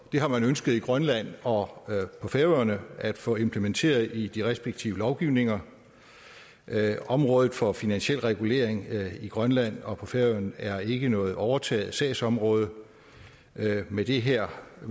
det har man ønsket i grønland og på færøerne at få implementeret i de respektive lovgivninger området for finansiel regulering i grønland og på færøerne er ikke noget overtaget sagsområde med de her